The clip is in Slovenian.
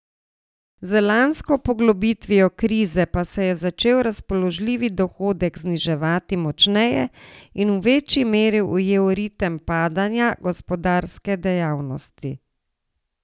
Z lansko poglobitvijo krize pa se je začel razpoložljivi dohodek zniževati močneje in v večji meri ujel ritem padanja gospodarske dejavnosti.